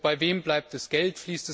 Bei wem bleibt das Geld?